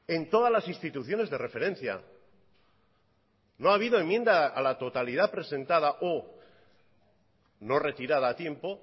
en todas las instituciones de referencia no ha habido enmienda a la totalidad presentada o no retirada a tiempo